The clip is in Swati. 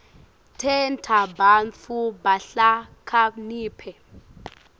tenta bantfu bahlakaniphe